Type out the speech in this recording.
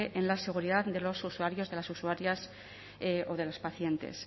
en la seguridad de los usuarios de las usuarias o de las pacientes